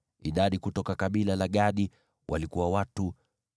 Idadi kutoka kabila la Gadi walikuwa watu 45,650.